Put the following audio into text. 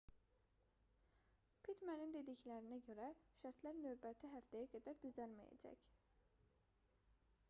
pittmanın dediklərinə görə şərtlər növbəti həftəyə qədər düzəlməyəcək